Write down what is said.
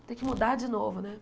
Vou ter que mudar de novo, né?